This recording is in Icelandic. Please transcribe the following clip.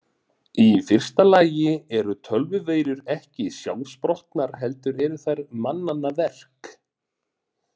Í fyrsta lagi eru tölvuveirur ekki sjálfsprottnar heldur eru þær mannanna verk.